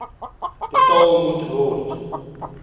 betaal moet word